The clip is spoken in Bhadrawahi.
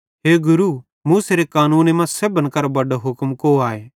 हे गुरू मूसेरे कानूने मां सेब्भन करां बड्डो हुक्म कौ आए